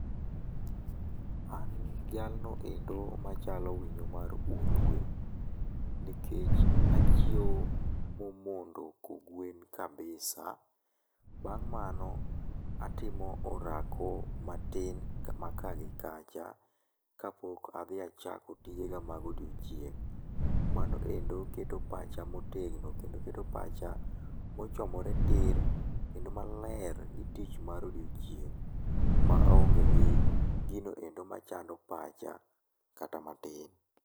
An jalno endo machalo winyo mar hundhwe nikech achiew momondo kogwen kabisa. Bang' mano atimo orako matin ma kaa gi kacha, kapok adhi achako tijega mag odiechieng'. Mano endo keto pacha motegno, kendo keto pacha mochomore tir kendo maler ni tich mar odiechieng' maonge gi gino endo machando pacha kata matin.